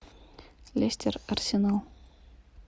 лестер арсенал